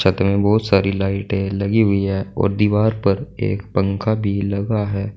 छत में बोहोत सारी लाइटें लगी हुई है और दीवार पर एक पंखा भी लगा है।